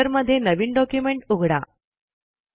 रायटरमध्ये नवीन डॉक्युमेंट उघडा